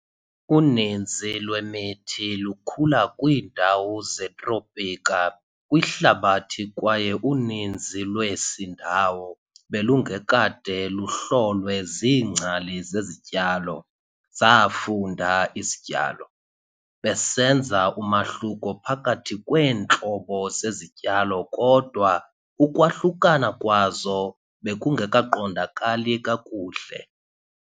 Uninzi lwemithi lukhula kwiindawo zetropika kwihlabathi kwaye uninzi lwesi ndawo belungekade luhlolwe ziingcali zezityalo, zaafunda izityalo, besenza umahluko phakathi kweentlobo zezityalo kodwa ukwahlukana kwazo bekungekaqondqa kakuhle.